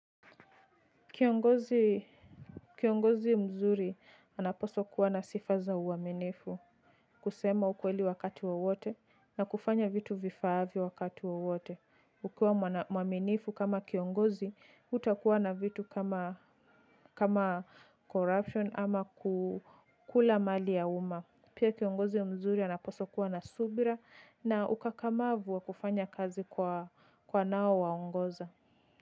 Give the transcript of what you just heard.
Kiongozi mzuri anapaswa kuwa na sifa za uaminifu. Kusema ukweli wakati wowote na kufanya vitu vifaavyo wakati wowote. Ukiwa mwaminifu kama kiongozi hutakuwa na vitu kama corruption ama ku kula mali ya uma. Pia kiongozi mzuri anapaswa kuwa na subira na ukakamavu wa kufanya kazi kwa wanao waongoza.